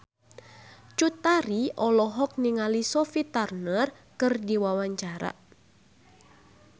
Cut Tari olohok ningali Sophie Turner keur diwawancara